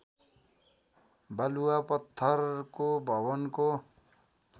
बालुवा पत्थरको भवनको